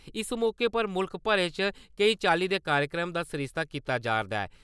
इस मौके पर मुल्ख भरै च केई चाल्ली दे कार्यक्रमें दा सरिस्ता कीता जा'रदा ऐ।